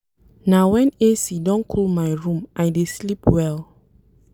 Na wen AC don cool my room I dey sleep well.